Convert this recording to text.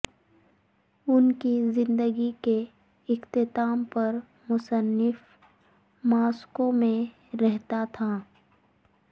ان کی زندگی کے اختتام پر مصنف ماسکو میں رہتا تھا